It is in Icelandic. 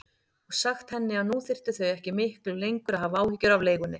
Og sagt henni að nú þyrftu þau ekki miklu lengur að hafa áhyggjur af leigunni.